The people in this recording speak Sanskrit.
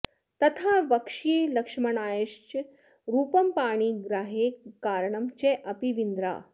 तथा वक्ष्ये लक्ष्मणायाश्च रूपं पाणिग्राहे कारणं चापि वीन्द्रा